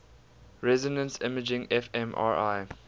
resonance imaging fmri